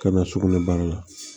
Ka na sugunɛ baara la